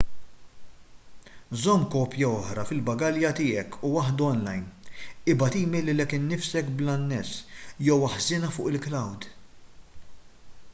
żomm kopja oħra fil-bagalja tiegħek u waħda online ibgħat email lilek innifsek bl-anness jew aħżinha fuq il-"cloud"